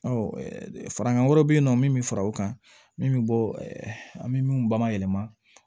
Ɔ farankan wɛrɛ bɛ yen nɔ min bɛ fara o kan min bɛ bɔ an bɛ min bayɛlɛma